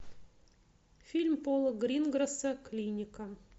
фильм пола грингросса клиника